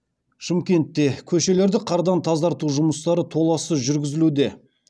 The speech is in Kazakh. шымкентте көшелерді қардан тазарту жұмыстары толассыз жүргізілуде